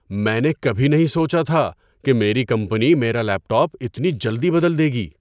میں نے کبھی نہیں سوچا تھا کہ میری کمپنی میرا لیپ ٹاپ اتنی جلدی بدل دے گی!